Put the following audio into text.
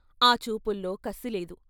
ఆ చూపుల్లో కసిలేదు.